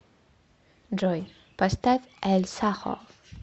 джой поставь эль сахо